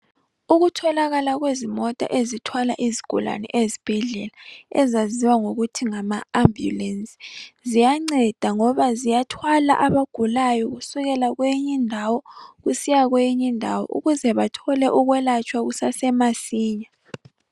Ukutholakala kwezimota ezithwala izigulane ezibhedlela ezaziwa ngokuthi ngama ambulensi. Ziyanceda ngoba ziyathwala abagulayo kusukela kweyinyindawo kusiya kweyinyindawo ukuze bathole ukwelatshwa kusasemasinya.